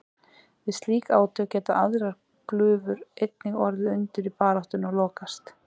Við slík átök geta aðrar glufur einnig orðið undir í baráttunni og lokast.